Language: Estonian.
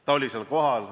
Ta oli seal kohal.